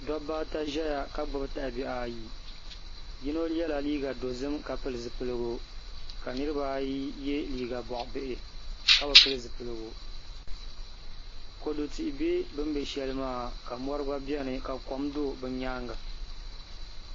Dabba ata ʒɛya ka gbubi dalibihi ayi yino yɛla liiga dozim ka pili zipiligu ka niraba ayi yɛ liiga boɣa bihi ka bi pili zipiligu kodu tihi bɛ bi ni bɛ shɛli maa ka mori gba biɛni ka tihi do bi nyaanga